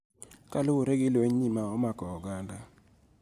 Kaluwore gi lwenyni ma omako oganda